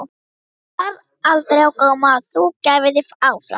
En bar aldrei á góma að þú gæfir þig fram?